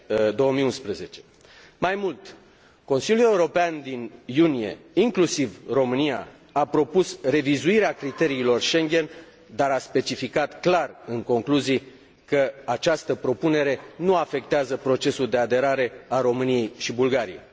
2011. Mai mult, Consiliul European din iunie, inclusiv România, a propus revizuirea criteriilor Schengen, dar a specificat clar în concluzii că această propunere nu afectează procesul de aderare a României și Bulgariei.